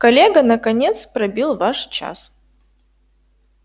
коллега наконец пробил ваш час